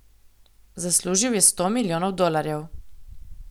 Zaslužil je sto milijonov dolarjev.